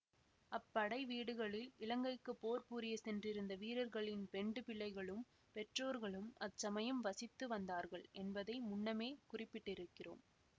அப்படை வீடுகளில் இலங்கைக்கு போர் புரியச் சென்றிருந்த வீரர்களின் பெண்டு பிள்ளைகளும் பெற்றோர்களும் அச்சமயம் வசித்து வந்தார்கள் என்பதை முன்னமே குறிப்பிட்டிருக்கிறோம்